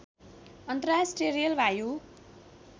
अन्तर्राष्ट्रिय रेल वायु